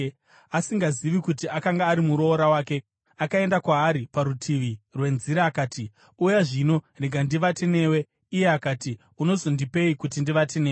Asingazivi kuti akanga ari muroora wake, akaenda kwaari parutivi rwenzira akati, “Uya zvino, rega ndivate newe.” Iye akati, “Unozondipei kuti ndivate newe?”